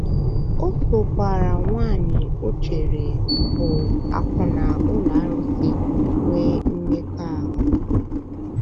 O sokwaara nwanyị o um nwanyị o um chere bụ́ akwụna ụlọ arụsị um nwee mmekọahụ.